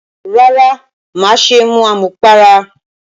Rárá, má ṣe mu àmupara